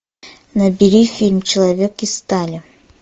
набери фильм человек из стали